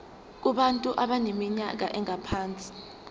kubantu abaneminyaka engaphansi